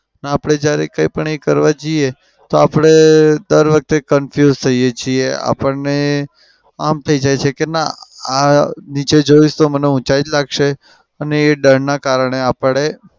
આપડે જ્યારે કઈ પણ એ કરવા જઈ તો આપડે દર વખતે confuse થઈએ છીએ. આપડને આમ થઇ જાય છે કે ના આ નીચે જોઇશ તો ઉંચાઈ જ લાગશે અને એ ડરના કારણે આપડે